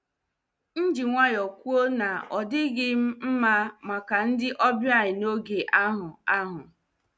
M ji nwayọọ kwuo na ọ dịghị m mma maka ndị ọbịa n'oge ahụ. ahụ.